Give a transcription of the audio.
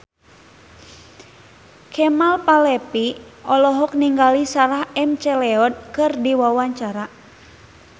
Kemal Palevi olohok ningali Sarah McLeod keur diwawancara